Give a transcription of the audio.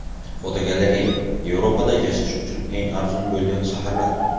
Fotogalereya: Yevropada yashash uchun eng arzon bo‘lgan shaharlar.